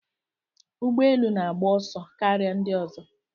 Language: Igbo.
Ụgbọ elu na-agba ọsọ karịa ndị ọzọ.